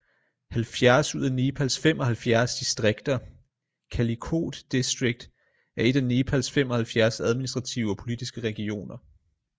70 ud af nepals 75 distrikterKalikot district er et af nepals 75 administrative og politiske regioner